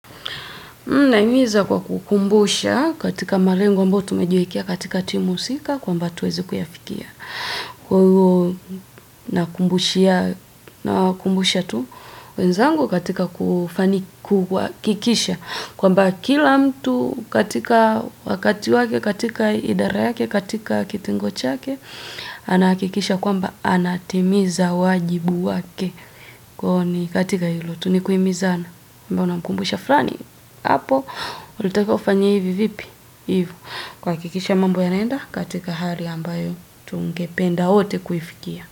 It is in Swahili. Nahimiza kwa kukumbusha katika malengo ambayo tumejiwekea katika timu husika kwamba tuweze kuyafikia. Kwa hiyo nawakumbusha tu wenzangu katika kuhakikisha. Kwamba kila mtu katika wakati wake, katika idara yake, katika kitengo chake, ana hakikisha kwamba anatimiza wajibu wake kwa hiyo ni katika hilo tu ni kuhimizana. Kwamba unamkumbusha fulani Hapo, ulitakiwa ufanye hivi vipi? Hivyo. Kuhakikisha mambo yanaenda katika hali ambayo tungependa wote kuifikia.